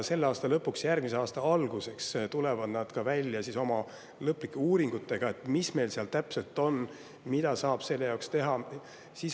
Selle aasta lõpuks või järgmise aasta alguseks tulevad nad välja oma lõplike uuringutega, et mis seal täpselt on ja mida saab teha.